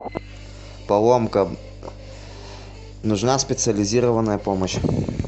поломка нужна специализированная помощь